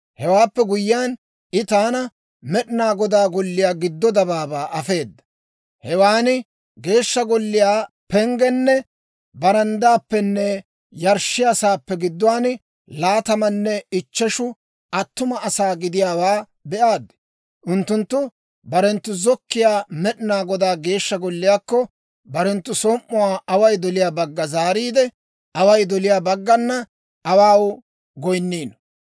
Hewaappe guyyiyaan, I taana Med'inaa Godaa Golliyaa giddo dabaabaa afeeda; hewan Geeshsha Golliyaa penggen baranddaappenne yarshshiyaa saappe gidduwaan laatamanne ichcheshu attuma asaa gidiyaawaa be'aad. Unttunttu barenttu zokkiyaa Med'inaa Godaa Geeshsha Golliyaakko, barenttu som"uwaa away doliyaa bagga zaariide, away doliyaa baggana awaaw goyinniino.